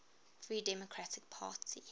free democratic party